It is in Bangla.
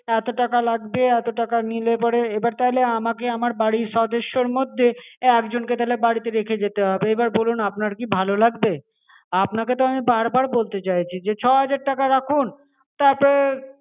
এতো টাকা লাগবে এতো টাকা নিলে পরে এবার তাহলে আমাকে আমার বাড়ির সদস্যর মধ্যে একজন কে তাহলে বাড়িতে রেখে যেতে হবে এবার বলুন আপনার কি ভালো লাগবে? আপনাকে তো আমি বার বার বলতে চাইছি যে ছ হাজার রাখুন তাতে